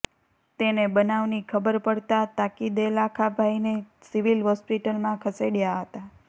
તેને બનાવની ખબર પડતાં તાકીદેલાખાભાઇને સિવિલ હોસ્પિટલમાં ખસેડ્યા હતા